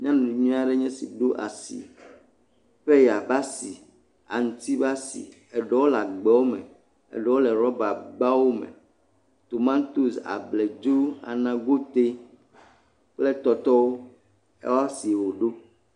Nyɔnu nyui aɖe enye esi ɖo asi; peya ƒe asi, aŋuti ƒe asi, eɖewo le agbawo me, eɖewo le rabagbawo me. Tomatosi, abladzo, anagoti kple tɔtɔwo ƒe asie woɖo.